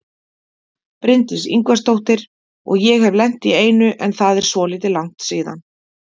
Bryndís Ingvarsdóttir: Og ég hef lent í einu en það er svolítið langt síðan?